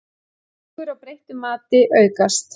Líkur á breyttu mati aukast